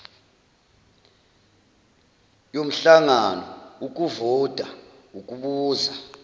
yomhlangano ukuvota ukubuza